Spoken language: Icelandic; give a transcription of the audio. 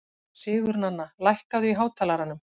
Sigurnanna, lækkaðu í hátalaranum.